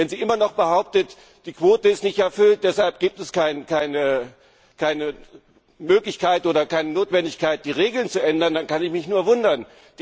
Wenn sie immer noch behauptet, die Quote ist nicht erfüllt, und deshalb gibt es keine Möglichkeit oder keine Notwendigkeit, die Regeln zu ändern, dann kann ich mich nur wundern.